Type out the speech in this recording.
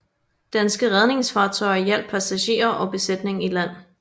Danske redningsfartøjer hjalp passagerer og besætning i land